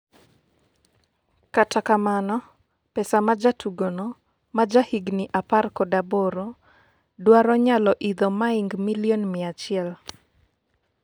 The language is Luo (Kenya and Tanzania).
kata kamano, pesa ma jatugono ma ja higni apar kod aboro dwaro nyalo idho maing milion mia achiel